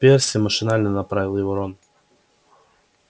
перси машинально поправил его рон